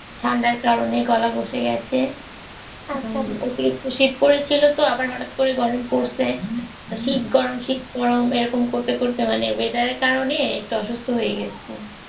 ঠান্ডার কারণে গলা বসে গেছে শীত পড়েছিল তো আবার হঠাৎ করে গরম পড়ছে তো শীত গরম শীত গরম এরকম করতে করতে weather অনেক অসুস্থ হয়ে গেছি